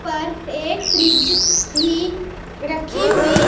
पर एक फ्रिज भी रखी हुई--